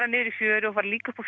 niður í fjöru og líka upp á